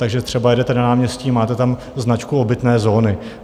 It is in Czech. Takže třeba jedete na náměstí, máte tam značku obytné zóny.